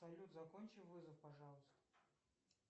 салют закончи вызов пожалуйста